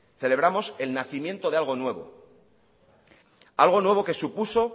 celebramos el nacimiento de algo nuevo algo nuevo que supuso